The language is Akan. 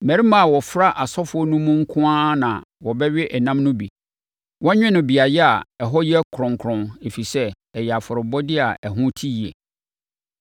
Mmarima a wɔfra asɔfoɔ no mu nko ara na wɔbɛwe ɛnam no bi. Wɔnwe no beaeɛ a ɛhɔ yɛ kronkron, ɛfiri sɛ, ɛyɛ afɔrebɔdeɛ a ɛho te yie.